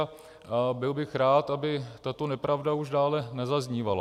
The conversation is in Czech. A byl bych rád, aby tato nepravda už dále nezaznívala.